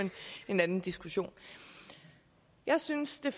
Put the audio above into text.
en anden diskussion jeg synes det